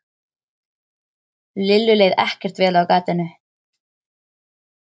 Lillu leið ekkert vel á gatinu.